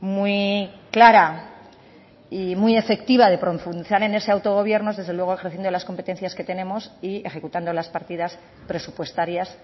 muy clara y muy efectiva de profundizar en ese autogobierno es desde luego ejerciendo las competencias que tenemos y ejecutando las partidas presupuestarias